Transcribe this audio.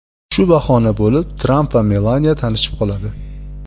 Shu bahona bo‘lib Tramp va Melaniya tanishib qoladi.